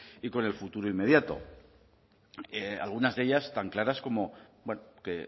y con el futuro inmediato algunas de ellas tan claras como bueno que